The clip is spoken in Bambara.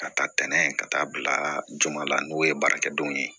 Ka taa ntɛnɛn ka taa bila joona n'o ye baarakɛdenw ye